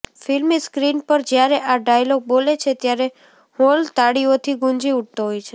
ફિલ્મી સ્ક્રીન પર જ્યારે આ ડાયલોગ બોલે છે ત્યારે હોલ તાળીઓથી ગુંજી ઊઠતો હોય છે